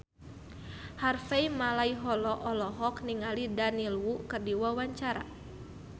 Harvey Malaiholo olohok ningali Daniel Wu keur diwawancara